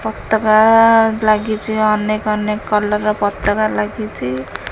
ପତାକା ଲାଗିଛି ଅନେକ ଅନେକ କଲର୍ ପତାକା ଲାଗିଛି।